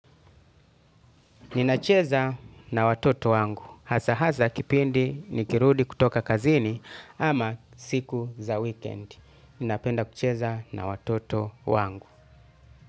Ninacheza na watoto wangu. Hasa hasa kipindi nikirudi kutoka kazini ama siku za weekend. Ninapenda kucheza na watoto wangu.